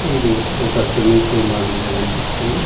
ఇది ఒక swimming pool మాదిరిగా కనిపిస్తుంది .